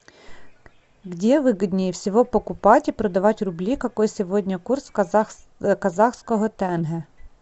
где выгоднее всего покупать и продавать рубли какой сегодня курс казахского тенге